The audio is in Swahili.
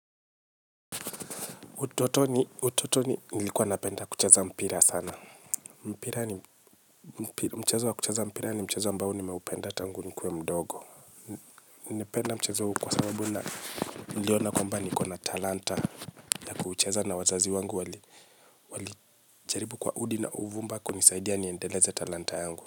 Utotoni, utotoni, nilikuwa napenda kucheza mpira sana. Mpira ni mchezo wa kuchaza mpira ni mchezo ambao nimeupenda tangu nikuwe mdogo. Napenda mchezo kuwa sababu na iliona kwamba nikona talanta. Kucheza na wazazi wangu walijaribu kwa udi na uvumba kunisaidia niendeleza talanta yangu.